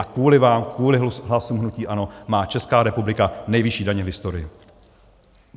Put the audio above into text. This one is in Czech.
A kvůli vám, kvůli hlasům hnutí ANO, má Česká republika nejvyšší daně v historii.